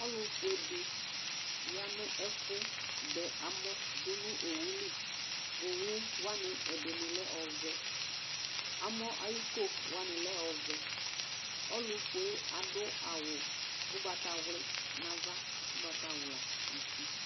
Ɔlʋfue dɩ ya nʋ ɛfʋ dɛamɔ dʋ nʋ owʋ li Owʋ wanɩ, ɛdɩnɩ lɛ ɔvɛ Amɔ ayʋ iko wanɩ lɛ ɔvɛ Ɔlʋfue yɛ adʋ awʋ ugbatawli nʋ ava, ugbatawla nʋ uti